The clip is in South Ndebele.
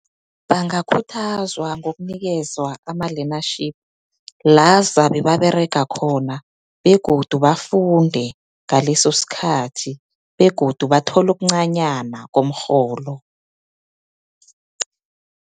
Bangakhuthazwa ngokunikezwa ama-learnership, la zabe baberega khona, begodu bafunde ngaleso sikhathi, begodu bathole okuncanyana komrholo.